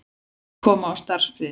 Hyggst koma á starfsfriði